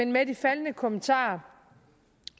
med de faldne kommentarer